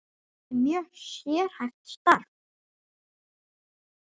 Þetta er mjög sérhæft starf.